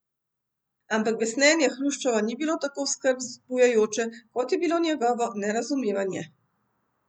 Ampak besnenje Hruščova ni bilo tako skrb vzbujajoče, kot je bilo njegovo nerazumevanje.